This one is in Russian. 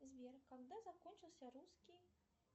сбер когда закончился русский